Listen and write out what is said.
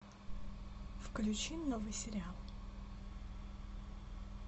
включи новый сериал